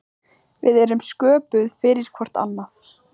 Við erum sköpuð fyrir hvort annað.